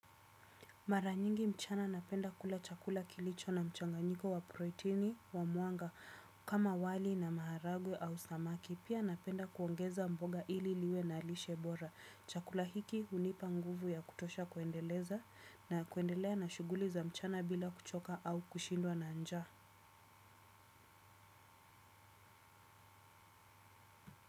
Mara nyingi mchana napenda kula chakula kilicho na mchanganyiko wa proteini wa mwanga kama wali na maharagwe au samaki. Pia napenda kuongeza mboga ili liwe na lishe bora. Chakula hiki hunipa nguvu ya kutosha kuendeleza na kuendelea na shughuli za mchana bila kuchoka au kushindwa na njaa.